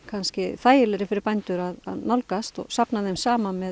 þægilegri fyrir bændur að nálgast og safna þeim saman með